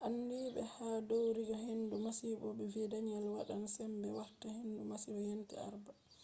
andiiɓe ha ɗowirɗe hendu masibo vi danielle wadan sembe warta hendu masibo yende alarba